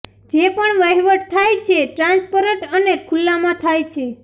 જે પણ વહિવટ થાય છે ટ્રાન્સપરન્ટ અને ખુલ્લામાં થાય છે